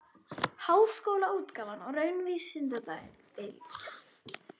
Háskólaútgáfan og Raunvísindadeild.